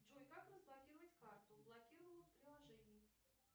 джой как разблокировать карту блокировала в приложении